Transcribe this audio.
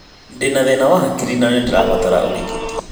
Ndĩna thĩna wa hakiri na nĩndĩrabatara ũrigiti